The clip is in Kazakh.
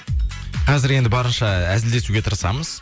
қазір енді барынша әзілдесуге тырысамыз